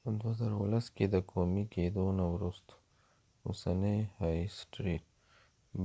په 2010 کې د قومي کېدو نه وروسته اوسنی های سټریټ